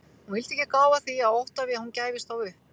Hún vildi ekki gá að því af ótta við að hún gæfist þá upp.